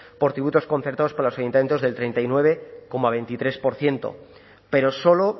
por tributos concertados para los ayuntamientos del treinta y nueve coma veintitrés por ciento pero solo